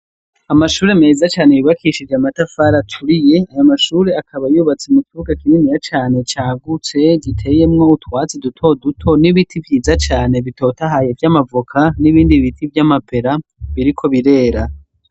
Amashure meza cane yubakishije amatafari aturiye ayo mashure akaba yubatse mu kibuga kininiya cane cagutse giteyemwo utwatsi dutoduto n'ibiti vyiza cane bitotahaye vy'amavoka n'ibindi biti vy'amapera biriko birera.